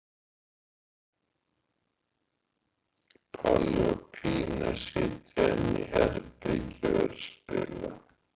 Palli og Pína sitja inni í herbergi og eru að spila.